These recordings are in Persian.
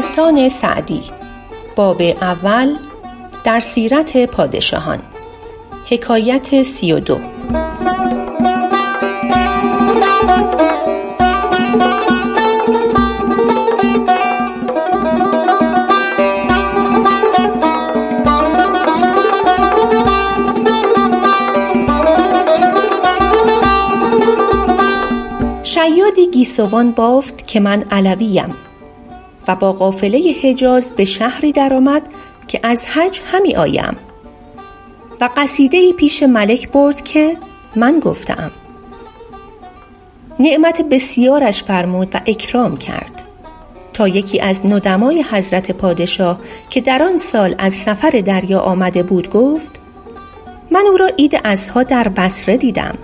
شیادی گیسوان بافت که من علویم و با قافله حجاز به شهری در آمد که از حج همی آیم و قصیده ای پیش ملک برد که من گفته ام نعمت بسیارش فرمود و اکرام کرد تا یکی از ندمای حضرت پادشاه که در آن سال از سفر دریا آمده بود گفت من او را عید اضحیٰ در بصره دیدم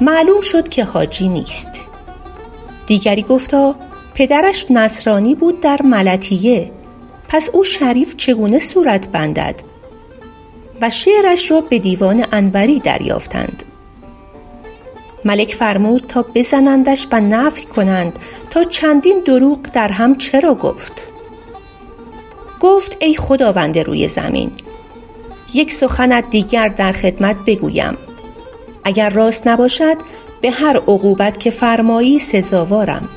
معلوم شد که حاجی نیست دیگری گفتا پدرش نصرانی بود در ملطیه پس او شریف چگونه صورت بندد و شعرش را به دیوان انوری دریافتند ملک فرمود تا بزنندش و نفی کنند تا چندین دروغ درهم چرا گفت گفت ای خداوند روی زمین یک سخنت دیگر در خدمت بگویم اگر راست نباشد به هر عقوبت که فرمایی سزاوارم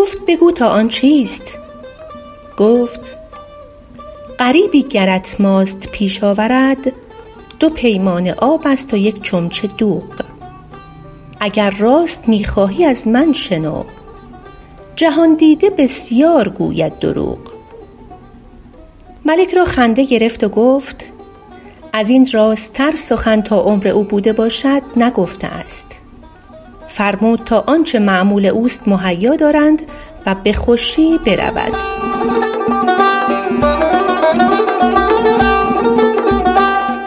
گفت بگو تا آن چیست گفت غریبی گرت ماست پیش آورد دو پیمانه آب است و یک چمچه دوغ اگر راست می خواهی از من شنو جهان دیده بسیار گوید دروغ ملک را خنده گرفت و گفت از این راست تر سخن تا عمر او بوده باشد نگفته است فرمود تا آنچه مأمول اوست مهیا دارند و به خوشی برود